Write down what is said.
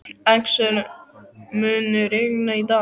Axel, mun rigna í dag?